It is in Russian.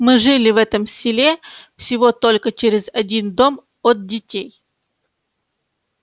мы жили в этом селе всего только через один дом от детей